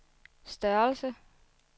størrelse